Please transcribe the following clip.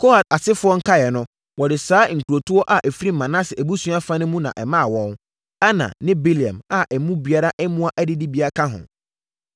Kohat asefoɔ nkaeɛ no, wɔde saa nkurotoɔ a ɛfiri Manase abusua fa no mu na ɛmaa wɔn: Aner ne Bileam a emu biara mmoa adidibea ka ho.